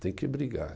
Tem que brigar.